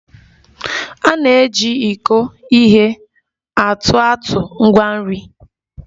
A na-eji iko ihe atụ atụ ngwa nri